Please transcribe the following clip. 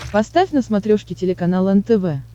поставь на смотрешке телеканал нтв